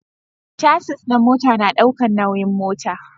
Casis na mota na daukan nauyin mota